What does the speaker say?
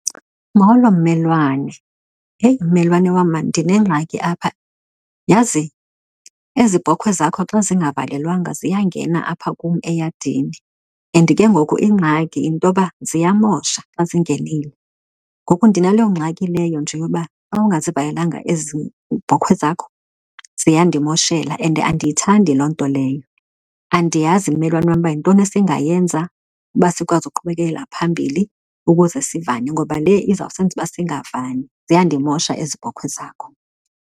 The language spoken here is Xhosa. Molo, mmelwane. Eyi mmelwane wam maan ndinengxaki apha. Yazi ezi bhokhwe zakho xa zingavalelwanga ziyangena apha kum eyadini and ke ngoku ingxaki yinto yoba ziyamosha xa zingenile. Ngoku ndinaloo ngxaki leyo nje yoba xa ungazivalelanga ezi bhokhwe zakho ziyandimoshela and andiyithandi loo nto leyo. Andiyazi mmelwane wam uba yintoni esingayenza uba sikwazi ukuqhubekekela phambili ukuze sivane, ngoba le izawusenza uba singavani. Ziyandimosha ezi bhokhwe zakho.